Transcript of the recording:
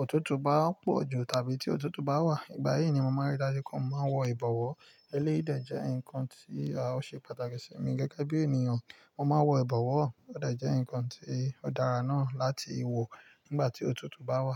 òtútù bá pọ̀ jù tàbí tí òtútù bá wà. Ìgbà yìí ni mo máa ń rí dájú pé mo máa ń wọ ìbọ̀wọ́. Eléyìí dé jẹ́ ǹkan tí a ó ṣe pàtàkì sí mi gẹ́gẹ́ bí ènìyàn. Mo máa ń wọ ìbọ̀wọ́. Ó dẹ̀ jẹ́ ǹkan tí ó dára náà láti wọ̀ nígbà tí òtútù bá wà.